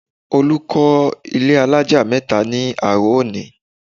Olù kọ́ ilé alájà mẹ́ta ní àárọ̀ òní